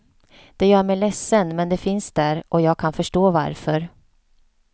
Det gör mig ledsen, men det finns där och jag kan förstå varför.